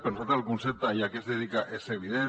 per nosaltres el concepte i a què es dedica és evident